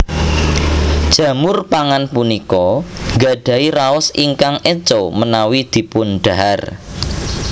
Jamur pangan punika nggadhahi raos ingkang éco menawi dipundhahar